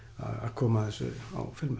koma þessu á filmu